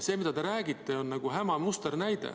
See, mida te räägite, on häma musternäide.